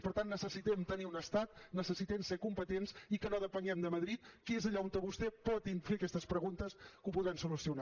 per tant necessitem tenir un estat necessitem ser competents i que no depenguem de madrid que és allà on vostè pot fer aquestes preguntes que ho podran solucionar